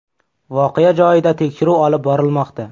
Voqea joyida tekshiruv olib borilmoqda.